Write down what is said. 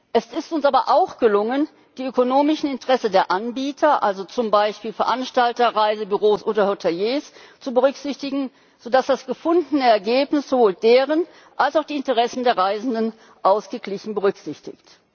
Es ist uns aber auch gelungen, die ökonomischen Interessen der Anbieter also zum Beispiel Veranstalter, Reisebüros oder Hoteliers zu berücksichtigen, sodass das gefundene Ergebnis sowohl deren als auch die Interessen der Reisenden ausgeglichen berücksichtigt.